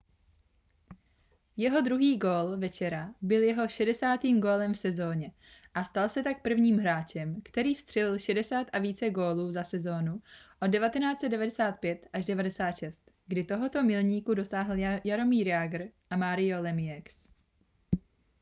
jeho druhý gól večera byl jeho 60. gólem v sezóně a stal se tak prvním hráčem který vstřelil 60 a více gólů za sezónu od 1995-96 kdy tohoto milníku dosáhli jaromír jágr a mario lemieux